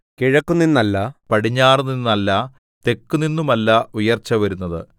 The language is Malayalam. കിഴക്കുനിന്നല്ല പടിഞ്ഞാറുനിന്നല്ല തെക്കുനിന്നുമല്ല ഉയർച്ചവരുന്നത്